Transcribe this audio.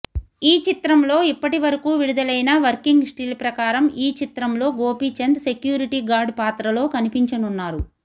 ఈ చిత్రంలో ఇప్పటి వరకు విడుదలయిన వర్కింగ్ స్టిల్ ప్రకారం ఈ చిత్రంలో గోపిచంద్ సెక్యూరిటీ గార్డ్ పాత్రలో కనిపించనున్నారు